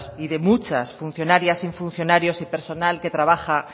y de muchas funcionarias y funcionarios y personal que trabaja